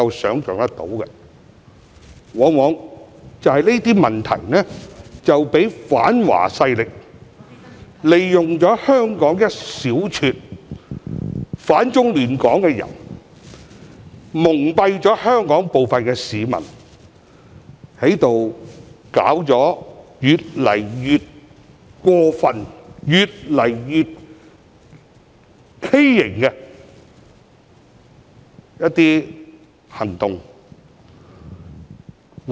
所衍生的問題往往讓反華勢力，利用香港一小撮反中亂港的人蒙蔽香港部分市民，並作出一些越來越過分、越來越畸形的行動。